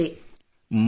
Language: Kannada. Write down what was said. ಮಥುರಾದಲ್ಲಿ